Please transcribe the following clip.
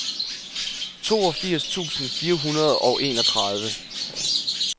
toogfirs tusind fire hundrede og enogtredive